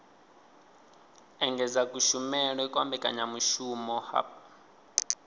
engedza kushumele kwa mbekanyamushumo hub